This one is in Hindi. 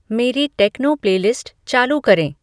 मेरी टेक्नो प्लेलिस्ट चालू करें